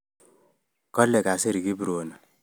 Kale kasir Kiprono